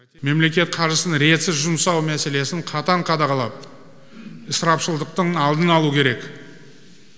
мемлекет қаржысын ретсіз жұмсау мәселесін қатаң қадағалап ысырапшылдықтың алдын алу керек